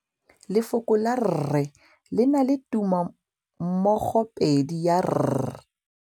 Lefoko la rre, le na le tumammogôpedi ya, r.